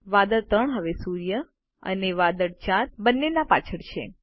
વાદળ 3 હવે સૂર્ય અને વાદળ 4 બંનેના પાછળ છે